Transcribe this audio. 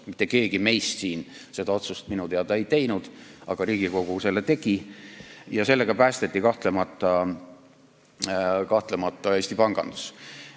Mitte keegi meist siin seda otsust minu teada ei teinud, aga Riigikogu selle tegi ja sellega päästeti kahtlemata Eesti pangandus.